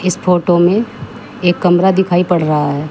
इस फोटो में एक कमरा दिखाई पड़ रहा है।